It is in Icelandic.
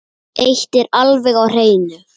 Eitt er alveg á hreinu.